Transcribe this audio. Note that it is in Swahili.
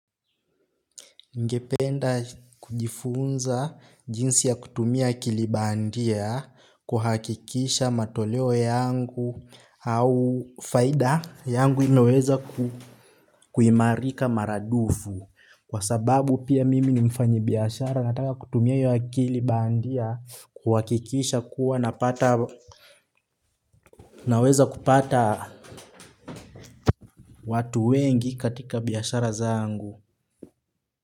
Nigependa, kujifunza jinsi ya kutumia akili bandia, kuhakikisha matoleo yangu, au faida yangu imeweza kuimarika maradufu. Kwa sababu pia mimi ni mfanyi biashara nataka kutumia hiyo akili bandia, kuhakikisha kuwa napata. Naweza kupata. Watu wengi katika biashara zangu.